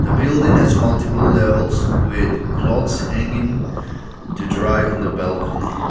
building has multiple levels with clothes hanging to dry on the balcony.